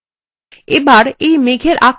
এবার এই মেঘের আকার হ্রাস করুন